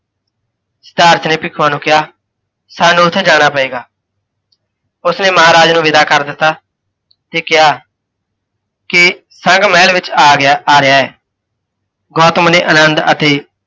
ਸਿਧਾਰਥ ਨੇ ਭਿੱਖੂਆਂ ਨੂੰ ਕਿਹਾ, ਸਾਨੂੰ ਉੱਥੇ ਜਾਣਾ ਪਏਗਾ। ਉਸਨੇ ਮਹਾਰਾਜ ਨੂੰ ਵਿਦਾ ਕਰ ਦਿੱਤਾ, ਤੇ ਕਿਹਾ, ਕਿ ਸੰਘ ਮਹਿਲ ਵਿੱਚ ਆਗਿਆ ਆ ਰਿਹਾ ਹੈ। ਗੌਤਮ ਨੇ ਅਨੰਦ ਅਤੇ